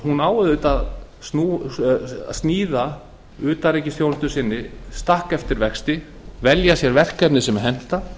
á auðvitað að sníða utanríkisþjónustunni stakk eftir vexti velja sér verkefni sem henta